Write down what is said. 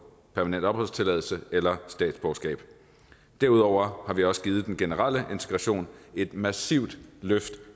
permanent opholdstilladelse eller statsborgerskab derudover har vi også givet den generelle integration et massivt løft